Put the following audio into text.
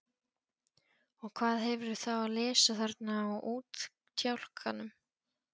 Og hvað hefurðu þá að lesa þarna á útkjálkanum?